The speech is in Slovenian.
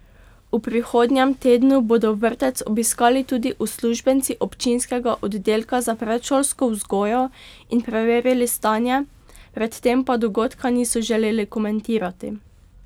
V prihodnjem tednu bodo vrtec obiskali tudi uslužbenci občinskega oddelka za predšolsko vzgojo in preverili stanje, pred tem pa dogodka niso želeli komentirati.